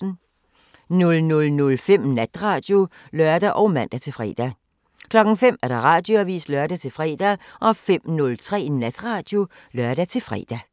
00:05: Natradio (lør og man-fre) 05:00: Radioavisen (lør-fre) 05:03: Natradio (lør-fre)